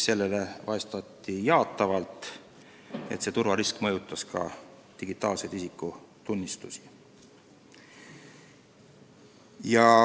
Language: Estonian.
Selle peale vastati jaatavalt: see turvarisk mõjutas ka digitaalseid isikutunnistusi.